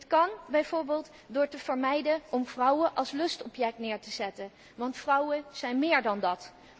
Dit kan bijvoorbeeld door te vermijden om vrouwen als lustobject neer te zetten, want vrouwen zijn méér dan dat.